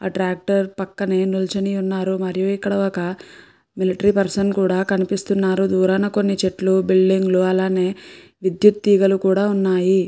ఆ ట్రాక్టర్ పక్కనే నిల్చుని ఉన్నారు మరియు ఇక్కడ ఒక మిలిటరీ పర్సన్ కూడా కనిపిస్తున్నారు దూరాన కొన్ని చెట్లు బిల్డింగ్ లు అలానే విద్యుత్ తీగలు కూడా ఉన్నాయి.